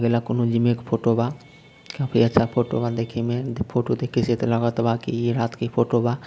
एक फोटो बा काफी अच्छा फोटो बा देखेमें इ फोटो देखके स लगत बा इ रात के फोटो बा |